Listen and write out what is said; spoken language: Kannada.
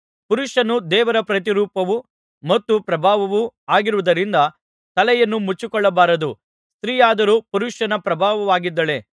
ಪುರುಷನು ದೇವರ ಪ್ರತಿರೂಪವೂ ಮತ್ತು ಪ್ರಭಾವವೂ ಆಗಿರುವುದರಿಂದ ತಲೆಯನ್ನು ಮುಚ್ಚಿಕೊಳ್ಳಬಾರದು ಸ್ತ್ರೀಯಾದರೋ ಪುರುಷನ ಪ್ರಭಾವವಾಗಿದ್ದಾಳೆ